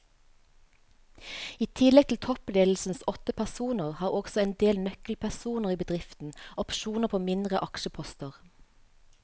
I tillegg til toppledelsens åtte personer har også en del nøkkelpersoner i bedriften opsjoner på mindre aksjeposter.